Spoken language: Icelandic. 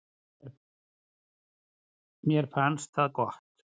Mér fannst það gott.